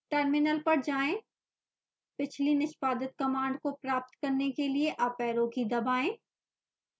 terminal पर जाएं पिछली निष्पादित कमांड को प्राप्त करने के लिए अप ऐरो की दबाएं